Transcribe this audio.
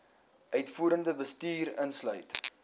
uitvoerende bestuur insluit